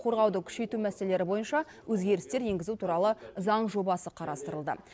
қорғауды күшейту мәселелері бойынша өзгерістер енгізу туралы заң жобасы қарастырылды